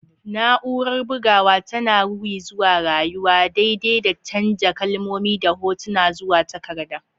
Na'urar bugawa tana ruri zuwa rayuwa, daidai da canja kalmomi da hotuna zuwa takarda.